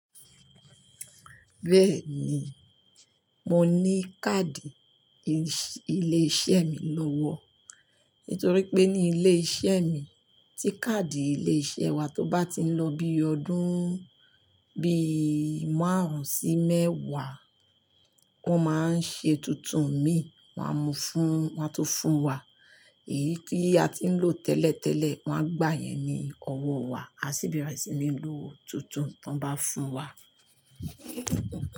Bẹ́ẹ̀ ni, mo ní káàdì ilé-iṣẹ́ mi lọ́wọ́. Nítorí pé ní ilé-iṣẹ́ mi tí káàdì ilé-iṣẹ́ wa tó bá tiń lọ bí ọdún, bí márùn-ún sí mẹ́wàá, wọ́n máa ń ṣe tuntun mi, wọn a mu fún, wọn a tun fún wa. Èyí tí a tiń lò tẹ́lẹ̀tẹ́lẹ̀, wọ́n á gbà yẹn ní ọwọ́ wa, a sì bẹ̀rẹ̀ sí ní lo tuntun tí wọ́n bá fún wa.